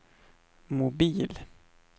mobil